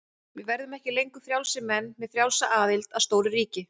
Hann strýkur tár úr augnakrók með handarbaki- og um leið kviknar á peru.